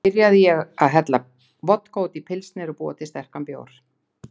Þá byrjaði ég að hella vodka út í pilsner og búa til sterkan bjór.